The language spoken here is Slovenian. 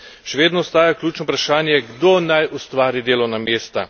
Še vedno ostaja ključno vprašanje, kdo naj ustvari delovna mesta.